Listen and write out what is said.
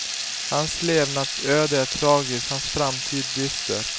Hans levnadsöde är tragiskt, hans framtid dyster.